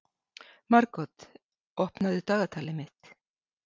Margot, opnaðu dagatalið mitt.